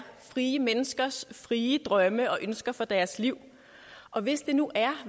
frie menneskers frie drømme og ønsker for deres liv og hvis det nu er